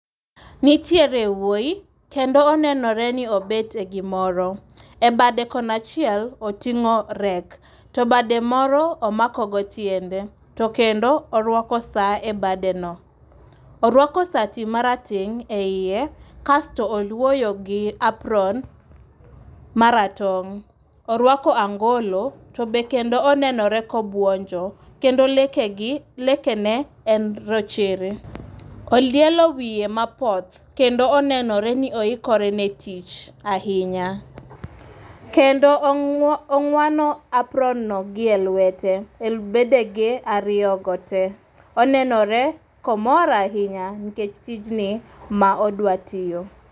Nitiere wuoyi, kendo onenore ni obet e gimoro. E bade kon achiel otingó rake, to bade moro omako go tiende. To kendo orwako saa e bade no. Orwako sati marateng' eiye, kasto olwoyo gi apron, maratong'. Orwako angolo, to be kendo onenore ka obwonjo. Kende lekegi, lekene en rochere. Olielo wiye mapoth, kendo onenore ni oikore ne tich ahinya. Kendo ong'wano apron no gi e lwete. E bedege ariyo go te. Onenore ka omor ahinya, nikech tijni ma odwa tiyo.